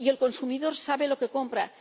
Y el consumidor sabe lo que compra.